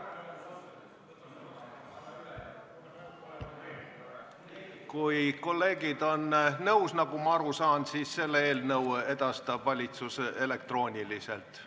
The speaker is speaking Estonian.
Kui kolleegid on nõus, siis nagu ma aru saan, edastab valitsus selle eelnõu elektrooniliselt.